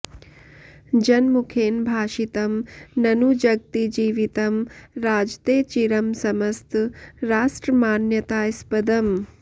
जनमुखेन भाषितं ननु जगति जीवितं राजते चिरं समस्तराष्ट्रमान्यतास्पदम्